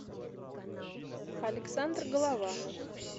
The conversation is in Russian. александр голованов